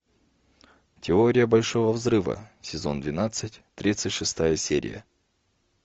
теория большого взрыва сезон двенадцать тридцать шестая серия